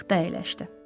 Taxta əyləşdi.